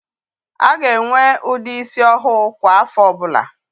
A ga-enwe ụdị ísí ọhụụ kwa áfọ̀ ọbụla.